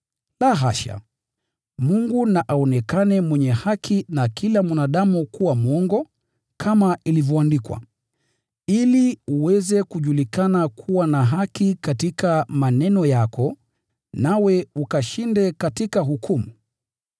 La hasha! Mungu na aonekane mwenye haki, na kila mwanadamu kuwa mwongo, kama ilivyoandikwa: “Ili uthibitike kuwa wa kweli unaponena, na ukashinde utoapo hukumu.”